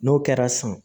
N'o kɛra san